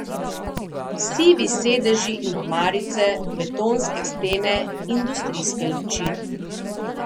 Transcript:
Sivi sedeži in omarice, betonske stene, industrijske luči.